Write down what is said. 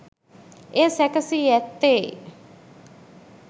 එය සැකසී ඇත්තේ